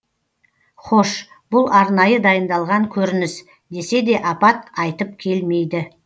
хош бұл арнайы дайындалған көрініс десе де апат айтып келмейді